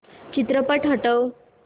चित्रपट हटव